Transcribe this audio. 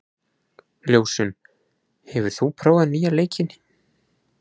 Ljósunn, hefur þú prófað nýja leikinn?